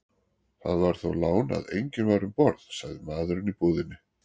Það var þó lán að enginn var um borð, sagði maðurinn í búðinni.